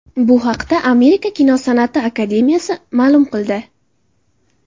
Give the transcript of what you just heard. Bu haqda Amerika kinosan’ati akademiyasi ma’lum qildi .